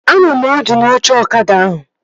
Anọ m ọdụ n'oche ọkada ahụ